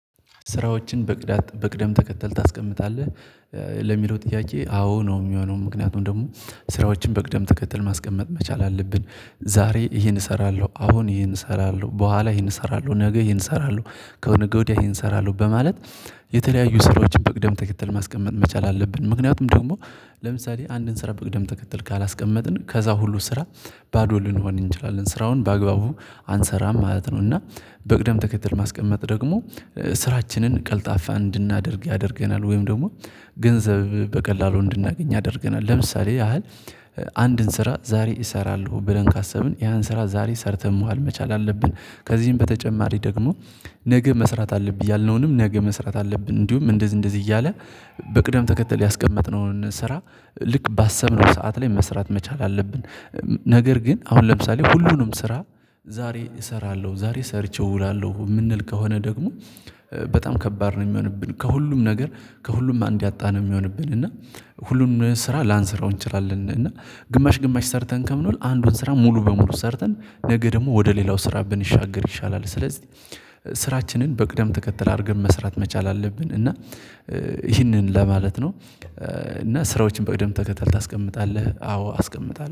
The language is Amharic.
ስራዎችን በቅደም ተከተል ታስቀምጣለህ ለሚለው ጥያቄ አዎ ነው የሚሆነው። ምክንያቱም ደግሞ ስራዎችን በቅደም ተከተል ማስቀመጥ መቻል አለብን። ዛሬ ይሄን እሰራለሁ አሁን ይሄን እሰራለሁ በኋላ ይሄን እሰራለሁ ነገ ይሄን እሰራለሁ ከነገ ወዲያ ይሄን እሰራለሁ በማለት የተለያዩ ስራዎችን በቅደም ተከተል ማስቀመጥ መቻል አለብን። ምክንያቱም ደግሞ ለምሳሌ አንድን ስራ በቅደም ተከተል ካላስቀመጥን ከዛ ሁሉ ስራ ባዶ ልንሆን እንችላለን ስራውን በአግባቡ አንሰራም ማለት ነው። እና በቅደም ተከተል ማስቀመጥ ደግሞ ስራችንን ቀልጣፋ እንድናደርግ ያደርገናል ወይም ደግሞ ገንዘብ በቀላሉ እንድናገኝ ያደርገናል። ለምሳሌ ያህል አንድን ስራ ዛሬ እሰራለሁ ብለን ካሰብን ያን ስራ ዛሬ ሰርተን መዋል መቻል አለብን። ከዚህም በተጨማሪ ደግሞ ነገ መስራት አለብን ያልነውንም ነገ መስራት አለብን እንዲሁም እንደዚህ እንደዚህ እያለ በቅደም ተከተል ያስቀመጥነውን ስራ ልክ ባሰብነው ሰዓት ላይ መስራት መቻል አለብን። ነገር ግን አሁን ለምሳሌ ሁሉንም ስራ ዛሬ እሰራለሁ ዛሬ ሰርቼው እውላለሁ የምንል ከሆነ ደግሞ በጣም ከባድ ነው የሚሆንብን ከሁሉም ነገር ከሁሉም አንድ ያጣ ነው የሚሆንብን። እና ሁሉም ስራ ላንሰራው እንችላለን እና ግማሽ ግማሽ ሰርተን ከምንውል አንዱን ስራ ሙሉ በሙሉ ሰርተን ነገ ደግሞ ወደ ሌላው ስራ ብንሻገር ይሻላል። ስለዚህ ስራችንን በቅደም ተከተል አድርገን መስራት መቻል አለብን። እና ይህንን ለማለት ነው እና ስራዎችን በቅደም ተከታታይ ታስቀምጣለህ አዎ አስቀምጣለሁ